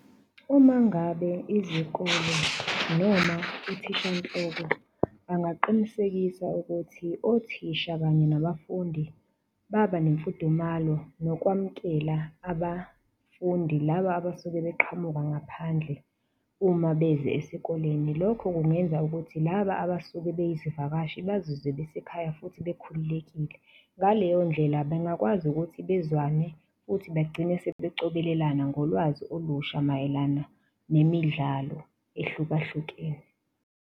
Uma ngabe izikole noma uthisha nhloko angaqinisekisa ukuthi othisha kanye nabafundi baba nemfundumalo nokwamukela abafundi laba abasuke beqhamuka ngaphandle uma beze esikoleni. Lokho kungenza ukuthi laba abasuke beyizivakashi bazizwe besekhaya futhi bakhululekile. Ngaleyondlela bangakwazi ukuthi bezwane futhi begcine sebecobelelana ngolwazi olusha mayelana nemidlalo ehlukahlukene.